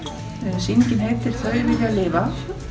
sýningin heitir þau vilja lifa